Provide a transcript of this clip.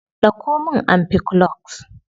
Dauko min ampiclox.